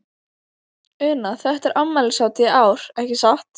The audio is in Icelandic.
Una, þetta er afmælishátíð í ár, ekki satt?